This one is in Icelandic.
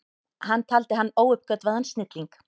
Hann taldi hann óuppgötvaðan snilling.